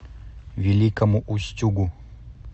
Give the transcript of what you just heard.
великому устюгу